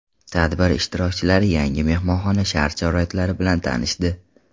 Tadbir ishtirokchilari yangi mehmonxona shart-sharoitlari bilan tanishdi.